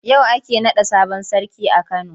Yau ake naɗa sabon sarki a Kano.